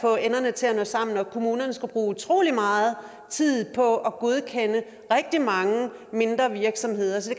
få enderne til at nå sammen og kommunerne skulle bruge utrolig meget tid på at godkende rigtig mange virksomheder så